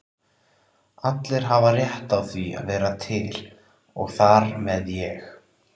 Allir hafa rétt á að vera til og þar með ég.